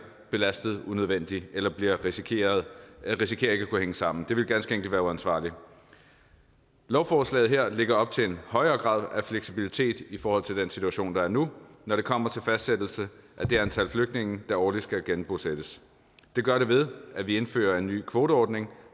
belastet unødvendigt eller risikerer risikerer ikke at kunne hænge sammen det ville ganske enkelt være uansvarligt lovforslaget her lægger op til en højere grad af fleksibilitet i forhold til den situation der er nu når det kommer til fastsættelse af det antal flygtninge der årligt skal genbosættes det gør det ved at vi indfører en ny kvoteordning